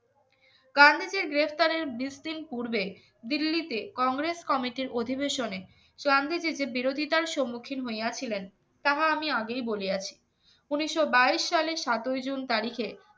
গান্ধীজীর গ্রেফতারের পূর্বে দিল্লিতে কংগ্রেস কমিটির অধিবেশনে বিরোধীতার সম্মুখীন হইয়াছিলেন তাহা আমি আগেই বলে আছি উনিশশো বাইশ সালের সতেরো জুন তারিখে